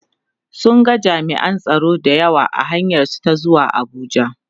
sun ga jami'an tsaro da yawa a hanyar su ta zuwa Abuja